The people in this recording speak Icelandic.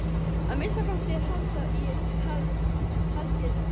Að minnsta kosti haldi ég það.